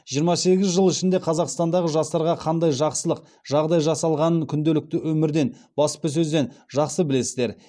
жиырма сегіз жыл ішінде қазақстандағы жастарға қандай жақсылық жағдай жасалғанын күнделікті өмірден баспасөзден жақсы білесіздер